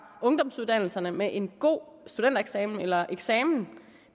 ungdomsuddannelserne med en god studentereksamen eller eksamen